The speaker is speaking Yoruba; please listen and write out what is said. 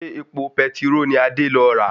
Ṣé epo petiró ni Adé lọ rà?